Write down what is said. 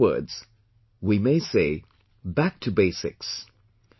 In other words, we may say "back to basics"